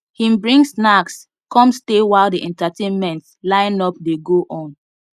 him bring snacks come stay while the entertainment lineup dey go on